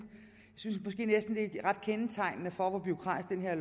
det er ret kendetegnende for hvor bureaukratisk det her